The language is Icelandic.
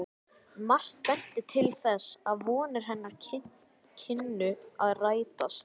Margt benti til þess, að vonir hennar kynnu að rætast.